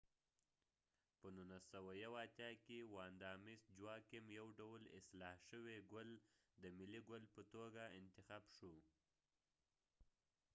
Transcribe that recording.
په 1981 کې ، واندا مس جواکېم vanda mis joaquim یو ډول اصلاح شوي ګل د ملی ګل په توګه اتخاب شو